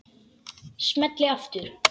Smelli aftur.